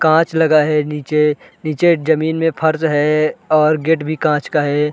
काँच लगा है नीचे नीचे जमीन में फर्ज है और गेट भी काँच का हैं ।